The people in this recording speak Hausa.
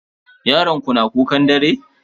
Yaron ku na kukan dare?